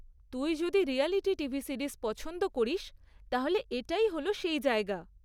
তুই যদি reality TV series পছন্দ করিস তাহলে এটাই হল সেই জায়গা।